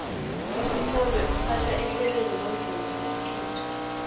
usithombe urhatjha ihlelo lomvumo wesikhethu